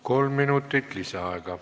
Kolm minutit lisaaega.